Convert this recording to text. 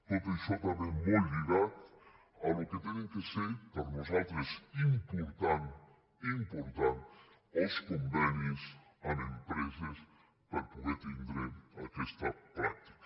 tot això també molt lligat al que han de ser per nosaltres important important els convenis amb empreses per poder tindre aquesta pràctica